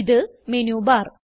ഇത് മെനുബാർ